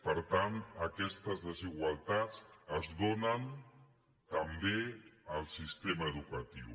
per tant aquestes desigualtats es donen també al sistema educatiu